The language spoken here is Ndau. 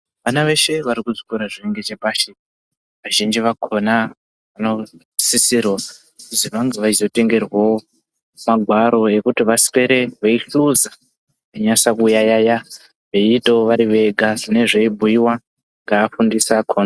Vana veshe varikuzvikora zviringechepashi vazhinji vakona vanosisirwa kuzi vainge veyizotengerwawo magwaro ekuti vaswere veitsuza veinyasa kuyaiya veyiitawo varivega zvinenge zveyibhuyiwa ngevafundisi vakona.